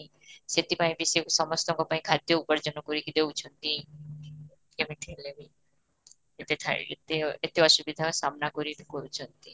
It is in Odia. ସେଠି ପାଇଁ ବି ସେ ସମସ୍ତଙ୍କ ପାଇଁ ଖାଦ୍ୟ ଉପାର୍ଯ୍ୟନ କରି କି ଦେଉଛନ୍ତି, ଯେମିତି ହେଲେବି ଏତେ ଥାଇ ଏତେ ଏତେ ଅସୁବିଧା ସାମ୍ନା କରି କରୁଛନ୍ତି